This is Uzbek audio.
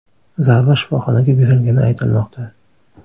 Zarba shifoxonaga berilgani aytilmoqda.